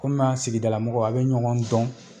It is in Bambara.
Kɔmi a sigidalamɔgɔ a bɛ ɲɔgɔn dɔn.